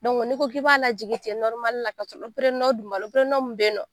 n'i ko k'i b'a lajigin ten ka dun b'a la mun beyinɔ.